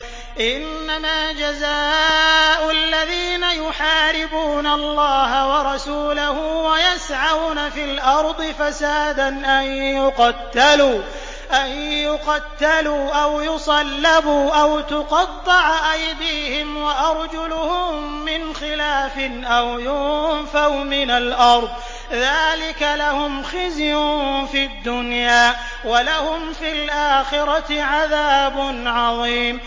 إِنَّمَا جَزَاءُ الَّذِينَ يُحَارِبُونَ اللَّهَ وَرَسُولَهُ وَيَسْعَوْنَ فِي الْأَرْضِ فَسَادًا أَن يُقَتَّلُوا أَوْ يُصَلَّبُوا أَوْ تُقَطَّعَ أَيْدِيهِمْ وَأَرْجُلُهُم مِّنْ خِلَافٍ أَوْ يُنفَوْا مِنَ الْأَرْضِ ۚ ذَٰلِكَ لَهُمْ خِزْيٌ فِي الدُّنْيَا ۖ وَلَهُمْ فِي الْآخِرَةِ عَذَابٌ عَظِيمٌ